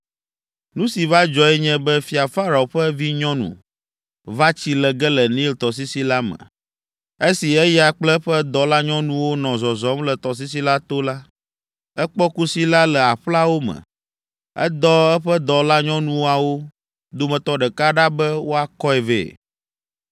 Nu si va dzɔe nye be Fia Farao ƒe vinyɔnu, va tsi le ge le Nil tɔsisi la me. Esi eya kple eƒe dɔlanyɔnuwo nɔ zɔzɔm le tɔsisi la to la, ekpɔ kusi la le aƒlawo me. Edɔ eƒe dɔlanyɔnuawo dometɔ ɖeka ɖa be wòakɔe vɛ.